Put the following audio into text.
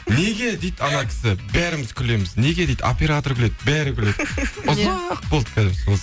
неге дейді анау кісі бәріміз күлеміз неге дейді оператор күледі бәрі күледі ұзақ болды